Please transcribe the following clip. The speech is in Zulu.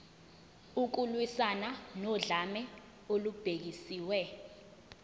ukulwiswana nodlame olubhekiswe